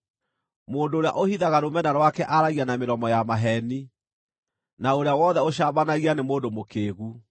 Mũndũ ũrĩa ũhithaga rũmena rwake aaragia na mĩromo ya maheeni, na ũrĩa wothe ũcambanagia nĩ mũndũ mũkĩĩgu.